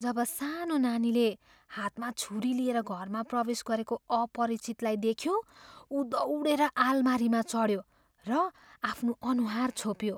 जब सानो नानीले हातमा छुरी लिएर घरमा प्रवेश गरेको अपरिचितलाई देख्यो ऊ दौडिएर आलमारीमा चढ्यो र आफ्नो अनुहार छोप्यो।